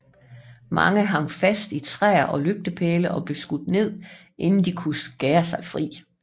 Mange hang fast i træer og lygtepæle og blev skudt inden de kunne skære sig fri